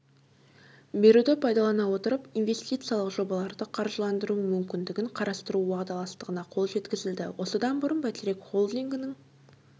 беруді пайдалана отырып инвестициялық жобаларды қаржыландыру мүмкіндігін қарастыру уағдаластығына қол жеткізілді осыдан бұрын бәйтерек холдингінің